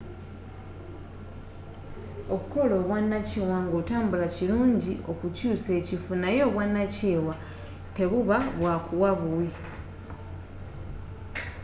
okukola obwanakyewa ng'otambula kirungi okukyuusa ekifo naye obwanakyewa tebuba bwakuwa buwi